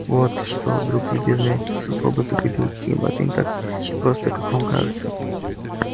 вот что друг любезный со злобой заговорил тим это не так просто как вам кажется